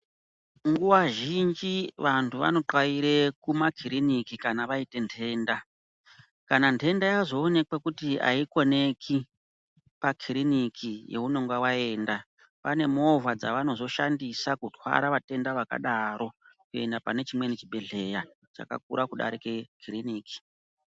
Nguva zhinji vantu vanopaire kumakiriniki kana vaine ntenda. Kana ntenda yazoonekwa kuti haikoneki pakiriniki younonga vaenda pane movha dzavanozoshandisa kutwara vatenda vakadaro. Kuenda pane chimweni chibhedhleya chakakure kudarike kiriniki.